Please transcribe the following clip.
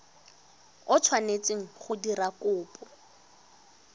o tshwanetseng go dira kopo